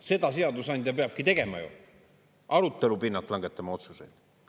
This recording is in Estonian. Seda seadusandja peabki tegema ju, arutelu pinnalt langetama otsuseid.